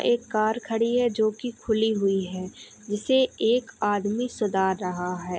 एक कार खड़ी है जोकि खुली हुई है जिसे एक आदमी सुधार रहा है।